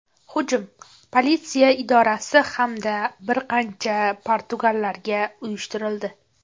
Hujum politsiya idorasi hamda bir qancha patrullarga uyushtirildi.